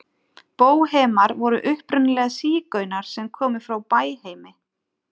Bóhemar voru upprunalega sígaunar sem komu frá Bæheimi.